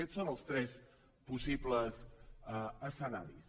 aquests són els tres possibles escenaris